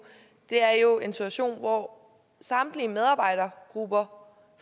er jo en situation hvor samtlige medarbejdergrupper